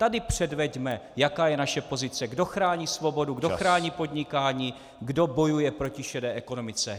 Tady předveďme, jaká je naše pozice, kdo chrání svobodu, kdo chrání podnikání, kdo bojuje proti šedé ekonomice.